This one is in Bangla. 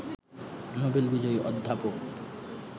নোবেল বিজয়ী অধ্যাপক